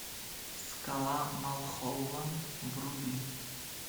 скала малхолланд вруби